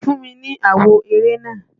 Fún mi ni àwo eré náà!